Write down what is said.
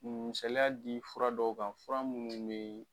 misaliya di fura dɔw kan fura minnu bɛ.